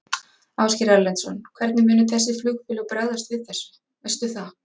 Ásgeir Erlendsson: Hvernig munu þessi flugfélög bregðast við þessu, veistu það?